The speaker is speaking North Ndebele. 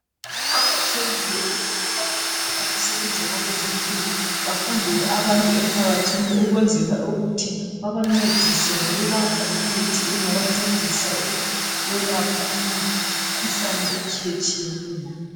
kuqakathekile ukuthi abantu abasebenza kwabezempilo bahambele abantu emphakathini ukwenzela ukthi babancedise ngokubapha imithi engabancedisa ukwelapha imikhuhlane etshiyetshiyeneyo